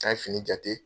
N'a ye fini jate